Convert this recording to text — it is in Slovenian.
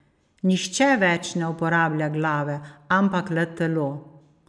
Nihče več ne uporablja glave, ampak le telo.